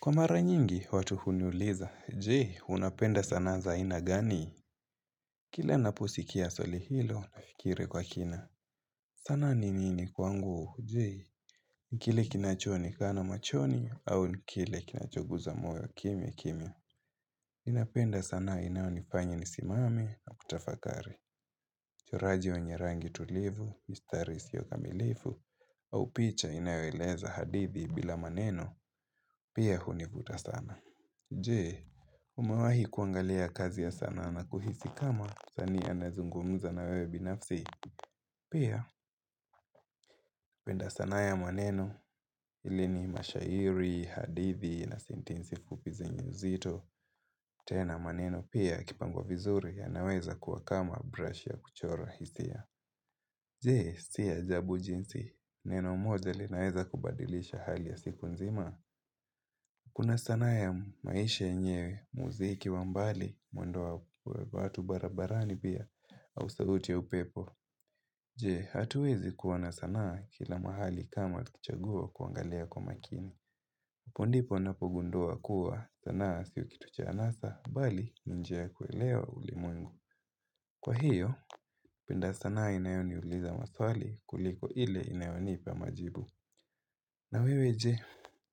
Kwa mara nyingi, watu huniuliza, jee, unapenda zana za aina gani? Kile naposikia swali hilo, nafikiri kwa kina. Zana ni nini kwangu, jee? Ni kile kinachoonekana machoni, au ni kile kinachoguza moyo, kimya, kimya. Inapenda sana inayonifanya nisimame, na kutafakari. Uchoraji wa nyerangi tulivu, miistari isiyo kamilifu, au picha inayoeleza hadithi bila maneno, pia hunivuta sana. Jee, umewahi kuangalia kazi ya sana na kuhisi kama msanii anazungumuza na wewe binafsi Pia, penda sanaa ya maneno hili ni mashairi, hadithi na sentensi fupi zenye uzito tena maneno pia yakipangwa vizuri yanaweza kuwa kama brush ya kuchora hisia Jee, si ajabu jinsi, neno moja linaweza kubadilisha hali ya siku nzima Kuna sanaa ya maisha enyewe, muziki wa mbali, mwendo wa watu barabarani pia, au sauti ya upepo. Je, hatuwezi kuwa na sanaa kila mahali kama kichaguo kuangalia kwa makini. Hapo ndipo napogundua kuwa sanaa sio kitu cha anasa, bali ni njia ya kuelewa ulimwengu. Kwa hiyo, penda sanaa inayoniuliza maswali kuliko ile inayonipa majibu. Na wewe je,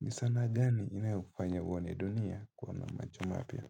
ni sanaa gani inayokufanya uone dunia kwa macho mapya?